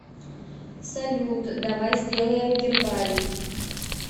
салют давай сделаем гербарий